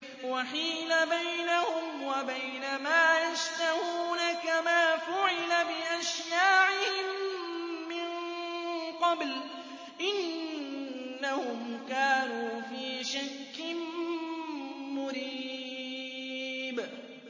وَحِيلَ بَيْنَهُمْ وَبَيْنَ مَا يَشْتَهُونَ كَمَا فُعِلَ بِأَشْيَاعِهِم مِّن قَبْلُ ۚ إِنَّهُمْ كَانُوا فِي شَكٍّ مُّرِيبٍ